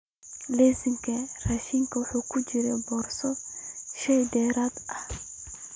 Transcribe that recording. Liiska raashinkayga waxa ku jira boos shay dheeraad ah